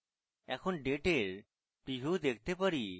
এখন ডেটের preview দেখতে পারি